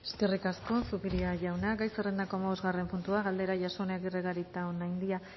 eskerrik asko zupiria jauna gai zerrendako hamabosgarren puntua galdera jasone agirre garitaonandia